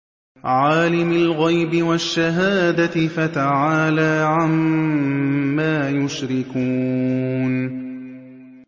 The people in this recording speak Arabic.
عَالِمِ الْغَيْبِ وَالشَّهَادَةِ فَتَعَالَىٰ عَمَّا يُشْرِكُونَ